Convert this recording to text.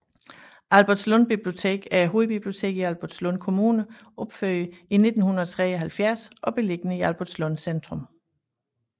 Albertslund Bibliotek er hovedbiblioteket i Albertslund Kommune opført i 1973 og beliggende i Albertslund Centrum